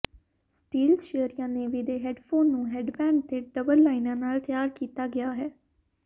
steel ਸ਼ੀਅਰੀਆਂ navy ਦੇ headphone ਨੂੰ ਹੈਡਬੈਂਡ ਤੇ ਡਬਲ ਲਾਈਨਾਂ ਨਾਲ ਤਿਆਰ ਕੀਤਾ ਗਿਆ ਹੈ